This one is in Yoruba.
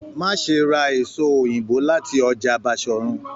Má ṣe ra èso òyìnbó láti ọjà Bashorun!